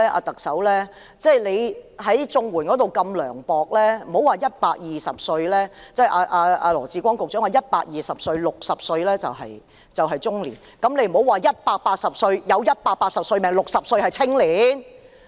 特首在綜援方面這麼涼薄，而羅致光局長說當大家有120歲壽命時 ，60 歲是中年，那為何不說當大家有180歲壽命時 ，60 歲是青年？